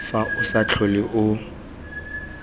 fa o sa tlhole o